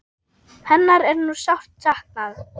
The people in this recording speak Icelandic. Hennar er nú sárt saknað.